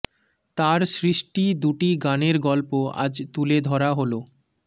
তার সৃষ্টি দুটি গানের গল্প আজ তুলে ধরা হলো